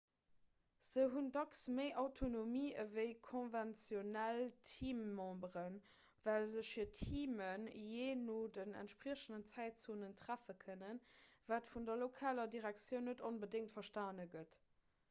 se hunn dacks méi autonomie ewéi konventionell teammemberen well sech hir teamen jee no den entspriechenden zäitzonen treffe kënnen wat vun der lokaler direktioun net onbedéngt verstane gëtt